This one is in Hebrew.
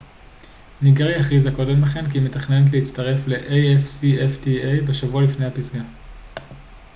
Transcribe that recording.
ניגריה הכריזה קודם לכן כי היא מתכננת להצטרף ל afcfta בשבוע לפני הפסגה